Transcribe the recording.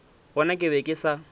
gona ke be ke sa